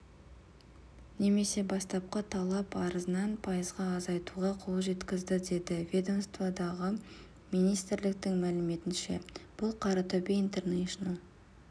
немесе бастапқы талап арызынан пайызға азайтуға қол жеткізді деді ведомстводағылар министрліктің мәліметінше бұл қаратөбе интернэшнл